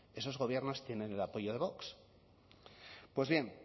esos gobiernos tienen el apoyo de vox pues bien